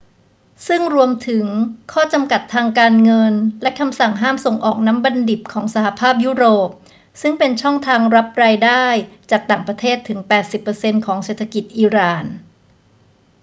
ซึ่งรวมถึงข้อจำกัดทางการเงินและคำสั่งห้ามส่งออกน้ำมันดิบของสหภาพยุโรป ซึ่งเป็นช่องทางรับรายได้จากต่างประเทศถึง 80% ของเศรษฐกิจอิหร่าน